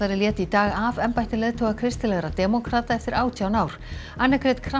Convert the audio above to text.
lét í dag af embætti leiðtoga kristilegra demókrata eftir átján ár